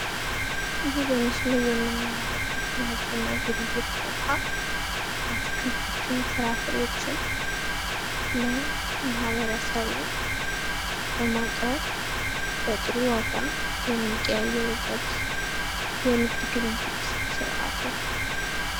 ይሄ በምስሉ ላይ የምንመለከተው ንግድና ግብይት ቦታ አትክልቶችን ፍራፍሬዎችን ለማህበረሰቡ በማቅረብ በጥሩ ዋጋ የሚቀያየሩበት የንግድ ግብይት ስርዓት ነው።